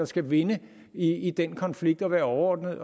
skal vinde i den konflikt og være overordnede